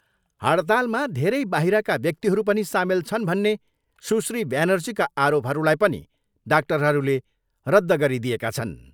हडतालमा धेरै बाहिरका व्यक्तिहरू पनि सामेल छन् भन्ने सुश्री ब्यानर्जीका आरोपहरूलाई पनि डाक्टरहरूले रद्ध गरिदिएका छन्।